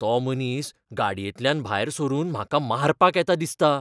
तो मनीस गाडयेंतल्यान भायर सरून म्हाका मारपाक येता दिसता.